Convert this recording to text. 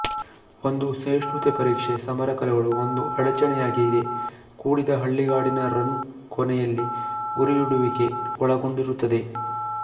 ಒಂದು ಸಹಿಷ್ಣುತೆ ಪರೀಕ್ಷೆ ಸಮರ ಕಲೆಗಳು ಒಂದು ಅಡಚಣೆಯಾಗಿದೆ ಕೂಡಿದ ಹಳ್ಳಿಗಾಡಿನ ರನ್ ಕೊನೆಯಲ್ಲಿ ಗುರಿಯಿಡುವಿಕೆ ಒಳಗೊಂಡಿರುತ್ತದೆ